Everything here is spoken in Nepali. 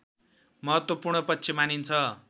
महत्त्वपूर्ण पक्ष मानिन्छ